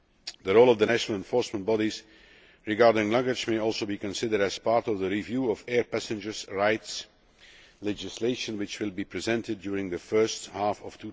The role of the national enforcement bodies regarding luggage may also be considered as part of the review of air passengers' rights, legislation which will be presented during the first half of